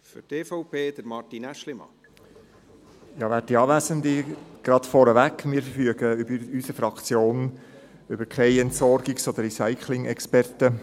Gleich vorneweg: Wir verfügen in unserer Fraktion über keine Entsorgungs- oder Recycling-Experten.